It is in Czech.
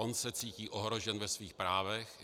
On se cítí ohrožen ve svých právech.